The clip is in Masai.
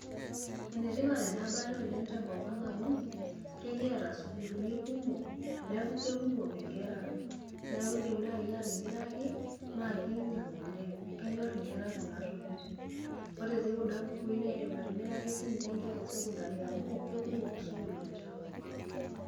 Enetipat enabaye oleng' tenkop amu kekiata sukuuluni kumok neeku kekumok enkera neeku iindim naaji atimiraki naa kiinyiang' oleng' kenyorr nkera kuna tokitin ore etii kuna bukuui naa indim atimiraki siinche nkera esekondari amu kekumok isukuulini tenkop ang'.